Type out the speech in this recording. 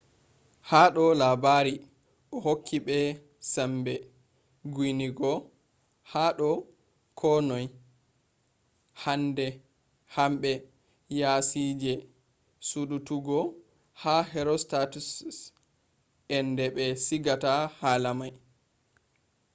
hado labari o hokki be sambe guinigo hado ko noi. hanbe yasije sudututgo ha herostatus’s ende be sigata hala mai